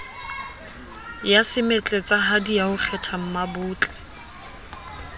ya semetletsahadi ya ho kgethammabotle